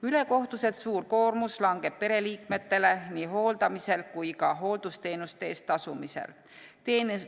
Ülekohtuselt suur koormus langeb pereliikmetele nii hooldamisel kui ka hooldusteenuste eest tasumisel.